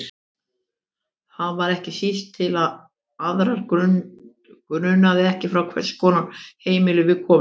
Það var ekki síst til að aðra grunaði ekki frá hvers konar heimili við komum.